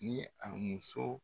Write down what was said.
Ni a muso